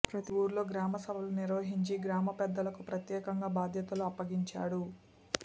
ప్రతి ఊరిలో గ్రామ సభలు నిర్వహించి గ్రామ పెద్దలకు ప్రత్యేకంగా బాధ్యతలు అప్పగించాడు